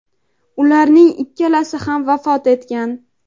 ularning ikkalasi ham vafot etgan.